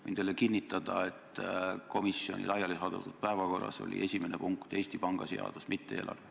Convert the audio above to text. Võin teile kinnitada, et komisjoni laialisaadetud päevakorras oli esimene punkt Eesti Panga seadus, mitte eelarve.